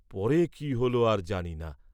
পরে কি হল আর জানি না।